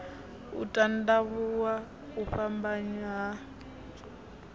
u tandavhuwa u fhambanya ha